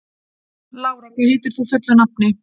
Lára, hvað heitir þú fullu nafni?